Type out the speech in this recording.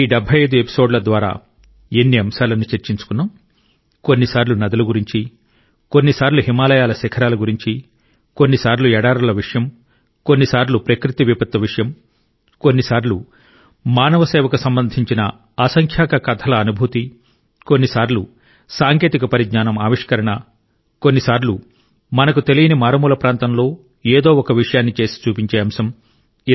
ఈ 75 ఎపిసోడ్ల ద్వారా ఎన్ని అంశాలను చర్చించుకున్నాం కొన్నిసార్లు నదుల గురించి కొన్నిసార్లు హిమాలయాల శిఖరాల గురించి కొన్నిసార్లు ఎడారుల విషయం కొన్నిసార్లు ప్రకృతి విపత్తు విషయం కొన్నిసార్లు మానవ సేవకు సంబంధించిన అసంఖ్యాక కథల అనుభూతి కొన్నిసార్లు సాంకేతిక పరిజ్ఞానం ఆవిష్కరణ కొన్నిసార్లు మనకు తెలియని మారుమూల ప్రాంతంలో ఏదో ఒక విషయాన్ని చేసి చూపించే అంశం